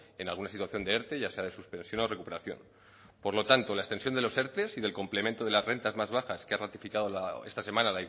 en alguna situación de erte ya sea de suspensión o recuperación por lo tanto la extensión de los erte y del complemento de las rentas más bajas que ha ratificado esta semana